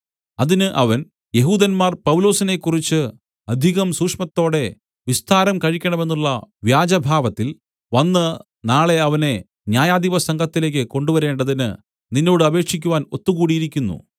അതിന് അവൻ യെഹൂദന്മാർ പൗലൊസിനെക്കുറിച്ച് അധികം സൂക്ഷ്മത്തോടെ വിസ്താരം കഴിക്കണമെന്നുള്ള വ്യാജഭാവത്തിൽ വന്ന് നാളെ അവനെ ന്യായാധിപസംഘത്തിലേക്ക് കൊണ്ടുവരേണ്ടതിന് നിന്നോട് അപേക്ഷിക്കുവാൻ ഒത്തുകൂടിയിരിക്കുന്നു